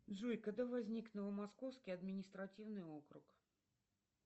джой когда возник новомосковский административный округ